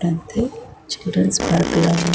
అంటే children's park లా ఉంది.